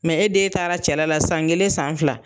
Mɛ e den taara cɛla la san kelen san fila